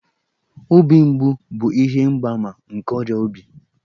Obi mgbu bụ ihe mgbaàmà nke ọrịa obi